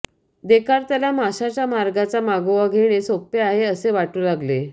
देकार्तला माशाच्या मार्गाचा मागोवा घेणे सोपे आहे असे वाटू लागले